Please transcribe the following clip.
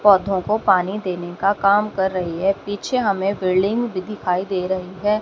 पौधों को पानी देने का काम कर रही है पीछे हमें बिल्डिंग भी दिखाई दे रही है।